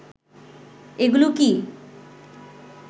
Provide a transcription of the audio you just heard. এগুলো কি